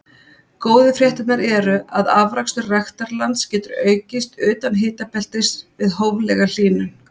Góðu fréttirnar eru að afrakstur ræktarlands getur aukist utan hitabeltis við hóflega hlýnun.